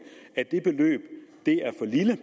er for lille